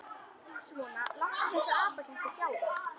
Svona, láttu þessa apaketti sjá það.